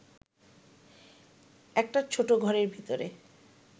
একটা ছোট ঘরের ভিতরে